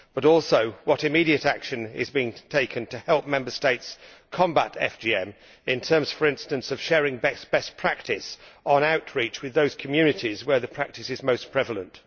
Also, what immediate action is being taken to help Member States combat FGM, in terms, for instance, of sharing best practice for outreach to those communities where the practice is most prevalent?